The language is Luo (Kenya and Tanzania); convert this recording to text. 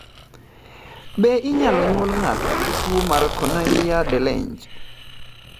Be inyalo nyuol ng'ato gi tuwo mar Cornelia de Lange?